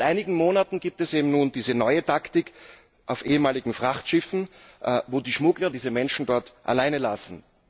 Seit einigen Monaten gibt es eben nun diese neue Taktik auf ehemaligen Frachtschiffen, wo die Schmuggler diese Menschen dort alleine lassen.